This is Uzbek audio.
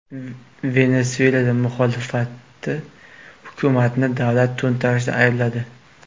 Venesuela muxolifati hukumatni davlat to‘ntarishida aybladi.